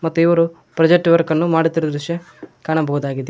ಕೆಲವರು project work ಮಾಡುತ್ತಿರುವ ದೃಶ್ಯ ಕಾಣಬಹುದಾಗಿದೆ.